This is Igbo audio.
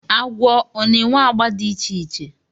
Agwọ ọ na-enwe agba dị iche iche.